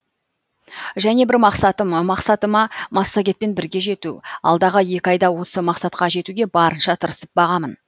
және бір мақсатым мақсатыма массагетпен бірге жету алдағы екі айда осы мақсатқа жетуге барынша тырысып бағамын